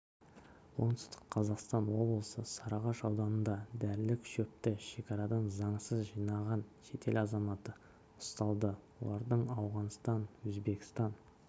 оңтүстік қазақстан облысы сарыағаш ауданында дәрілік шөпті шекарадан заңсыз жинаған шетел азаматы ұсталды олардың ауғанстан өзбекстан